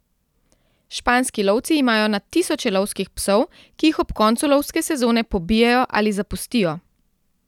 Španski lovci imajo na tisoče lovskih psov, ki jih ob koncu lovske sezone pobijejo ali zapustijo.